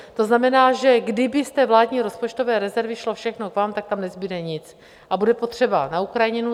To znamená, že kdyby z té vládní rozpočtové rezervy šlo všechno k vám, tak tam nezbude nic, a bude potřeba na Ukrajinu.